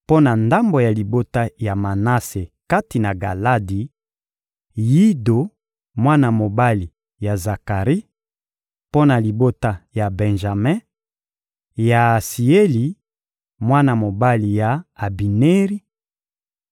mpo na ndambo ya libota ya Manase kati na Galadi: Yido, mwana mobali ya Zakari; mpo na libota ya Benjame: Yaasieli, mwana mobali ya Abineri;